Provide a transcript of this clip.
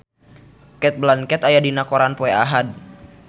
Cate Blanchett aya dina koran poe Ahad